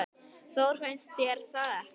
Þór, finnst þér það ekki?